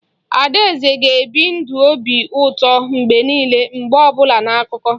Adaeze na ga-ebi ndụ obi ụtọ mgbe niile mgbe ọ bụla na akụkọ